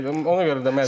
Ona görə də məcbur.